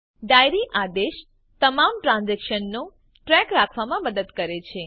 diary આદેશ તમામ ટ્રાન્ઝેક્શન્સનો ટ્રેક રાખવામાં મદદ કરે છે